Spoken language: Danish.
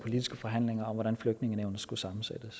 kunne sammensætte